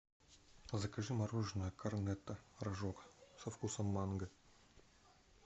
закажи мороженое корнетто рожок со вкусом манго